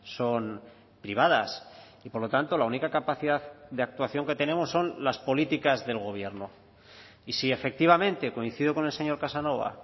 son privadas y por lo tanto la única capacidad de actuación que tenemos son las políticas del gobierno y si efectivamente coincido con el señor casanova